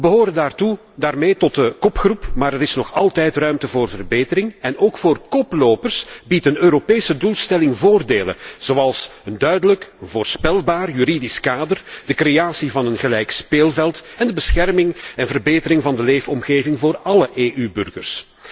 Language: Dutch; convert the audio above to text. We behoren daarmee tot de kopgroep, maar er is nog altijd ruimte voor verbetering en ook voor koplopers biedt een Europese doelstelling voordelen, zoals een duidelijk voorspelbaar juridisch kader, de creatie van een gelijk speelveld en de bescherming en verbetering van de leefomgeving voor alle EU burgers.